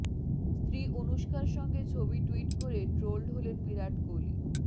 স্ত্রী অনুষ্কার সঙ্গে ছবি টুইট করে ট্রোলড হলেন বিরাট কোহলি